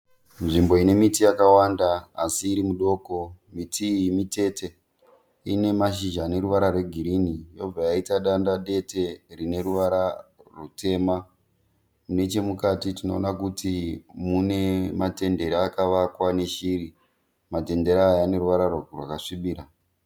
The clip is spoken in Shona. Nzvimbo ine miti yakawanda asi iri midoko. Miti iyi mitete, ine mashizha aneruvara rwegirini yobva yaita danda dete rine ruvara rwutema. Nechemukati tinoona kuti mune matendere akavakwa neshiri. Matendere aya aneruvara rwakasvibira.